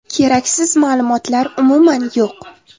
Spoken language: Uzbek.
Keraksiz ma’lumotlar umuman yo‘q.